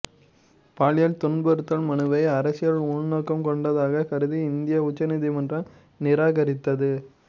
பாலியல் துன்புறுத்தல் மனுவை அரசியல் உள்நோக்கம் கொண்டதாகக் கருதி இந்திய உச்ச நீதிமன்றம் நிராகரித்தது